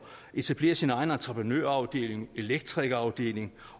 etablere sin egen entreprenørafdeling elektrikerafdeling